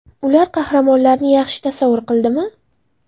Ular qahramonlarni yaxshi tasavvur qildimi?